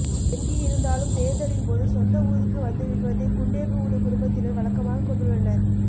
எங்கு இருந்தாலும் தேர்தலின் போது சொந்த ஊருக்கு வந்துவிடுவதை குண்டேகவுடு குடும்பத்தினர் வழக்கமாக கொண்டுள்ளனர்